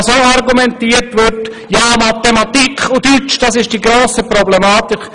Weiter wird argumentiert, die Fächer Mathematik und Deutsch seien die grosse Problematik.